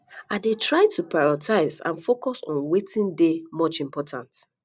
i dey try to prioritize and focus on on wetin dey much important